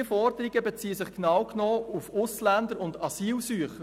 Diese Forderungen beziehen sich genau genommen auf Ausländer und Asylsuchende.